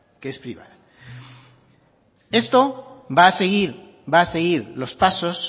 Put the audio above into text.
que es privada esto va a seguir va a seguir los pasos